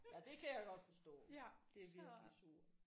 Ja det kan jeg godt forstå det er virkelig surt